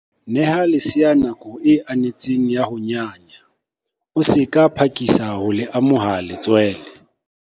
Neha lesea nako e anetseng ya ho nyanya, o se ka phakisa ho le amoha letswele.